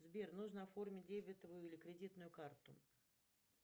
сбер нужно оформить дебетовую или кредитную карту